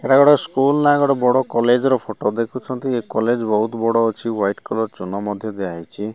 I ଗୋଟେ school ନା ଗୋଟେ ବଡ଼ କଲେଜ୍ ର ଫଟୋ ଦେଖୁଛନ୍ତି ଏ କଲେଜ୍ ବୋହୁତ୍ ବଡ ଅଛି ହ୍ୱାଇଟ୍ କଲର୍ ଚୂନ ମଧ୍ୟ ଦିଆହେଇଛି।